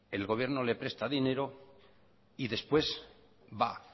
el gobierno le presta dinero y después va